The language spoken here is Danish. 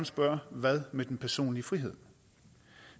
spørge hvad med den personlige frihed